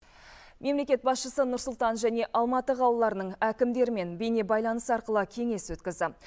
мемлекет басшысы нұр сұлтан және алматы қалаларының әкімдерімен бейнебайланыс арқылы кеңес өткізді